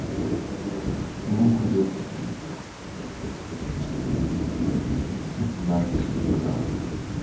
лук репчатый пятнадцать грамм